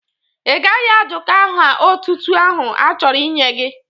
Ị gaghị ajụka aha ọtụtụ ahụ a chọrọ inye gi!